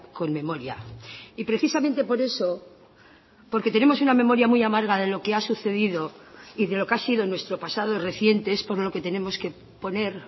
con memoria y precisamente por eso porque tenemos una memoria muy amarga de lo que ha sucedido y de lo que ha sido nuestro pasado reciente es por lo que tenemos que poner